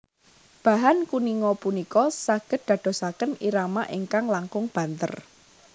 Bahan kuninga punika saged dadosaken irama ingkang langkung banter